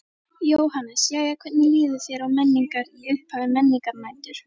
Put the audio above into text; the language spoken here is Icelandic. Jóhannes: Jæja hvernig líður þér á Menningar, í upphafi Menningarnætur?